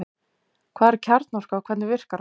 Hvað er kjarnorka og hvernig virkar hún?